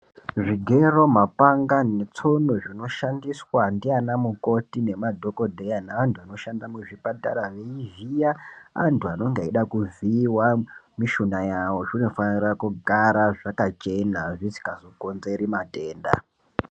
Zvogero ,mapanga netsono zvinoshandiswa nana mukoti nemadhokhodheya neantu anoshanda kuzvipatara zvimweni zviya vantu vanenge vechida mishuna yavo zvinofanira kugara zvakachena zvisina zvinga zokonzera matenda .